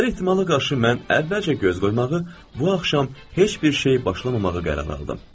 Hər ehtimala qarşı mən əvvəlcə göz qoymağı, bu axşam heç bir şey başlamamağı qərara aldım.